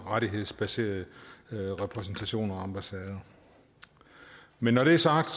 rettighedsbaserede repræsentationer og ambassader men når det er sagt